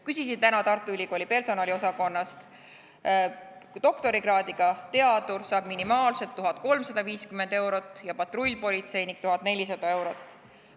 Küsisin täna Tartu Ülikooli personaliosakonnast, doktorikraadiga teadur saab minimaalselt 1350 eurot ja patrullpolitseinik 1400 eurot.